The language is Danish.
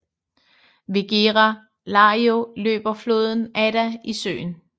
Ved Gera Lario løber floden Adda i søen